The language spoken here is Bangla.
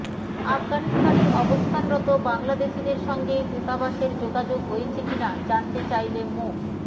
আফগানিস্তানের অবস্থানরত বাংলাদেশিদের সঙ্গে দূতাবাসের যোগাযোগ হয়েছে কি না জানতে চাইলে মো